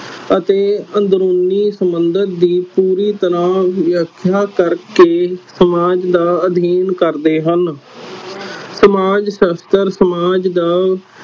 ਅਤੇ ਅੰਦਰੂਨੀ ਸਬੰਧਿਤ ਦੀ ਪੂਰੀ ਤਰਾਂ ਵਿਆਖਿਆ ਕਰਕੇ ਸਮਾਜ ਦਾ ਅਧੀਨ ਕਰਦੇ ਹਨ